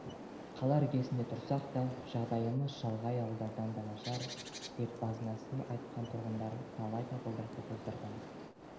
қала іргесінде тұрсақ та жағдайымыз шалғай ауылдардан да нашар деп базынасын айтқан тұрғындар талай табалдырықты тоздырған